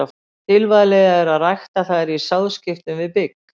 Tilvalið er að rækta þær í sáðskiptum við bygg.